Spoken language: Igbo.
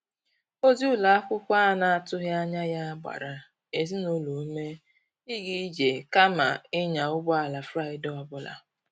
Ozi ụlọ akwụkwọ a na-atụghị anya ya gbara ezinụlọ ume ịga ije kama ịnya ụgbọ ala Fraịde ọ bụla.